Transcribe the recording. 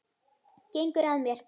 Gengur að mér.